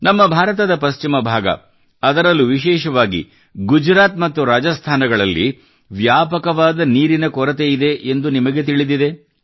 ನಮ್ಮ ಭಾರತದ ಪಶ್ಚಿಮ ಭಾಗ ಅದರಲ್ಲೂ ವಿಶೇಷವಾಗಿ ಗುಜರಾತ್ ಮತ್ತು ರಾಜಸ್ಥಾನಗಳಲ್ಲಿ ಅಪಾರವಾದ ನೀರಿನ ಕೊರತೆಯಿದೆ ಎಂದು ನಿಮಗೆ ತಿಳಿದಿದೆ